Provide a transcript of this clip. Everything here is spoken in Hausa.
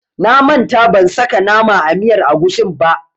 Na manta ban saka nama a miyar agushin ba.